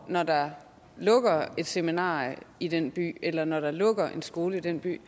når der lukker et seminarie i den by eller når der lukker en skole i den by